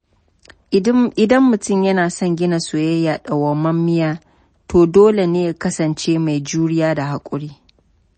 Idan mutum yana son gina soyayya dauwamammiya, to dole ne ya kasance mai juriya da haƙuri.